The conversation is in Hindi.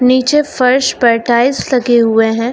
निचे फर्श पर टाइल्स लगे हुए है।